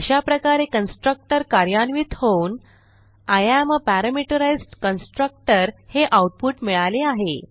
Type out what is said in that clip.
अशाप्रकारे कन्स्ट्रक्टर कार्यान्वित होऊन I am uh parameterised constructor हे आऊटपुट मिळाले आहे